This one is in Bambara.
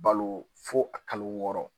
Balo fo a kalo wɔɔrɔ